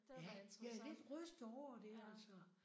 Ja! Jeg er lidt rystet over det altså